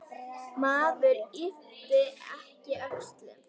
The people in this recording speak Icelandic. Maður ypptir ekki öxlum.